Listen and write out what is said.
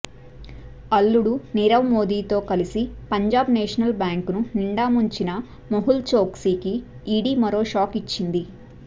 అల్లుడు నీరవ్ మోదీతో కలిసి పంజాబ్ నేషనల్ బ్యాంకును నిండా ముంచిన మెహుల్ చోక్సీకి ఈడీ మరో షాక్ ఇచ్చింది